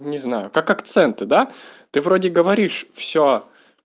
не знаю как акценты да ты вроде говоришь все